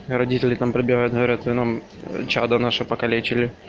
родители там пробивают говорят вы нам чадо наше поколечили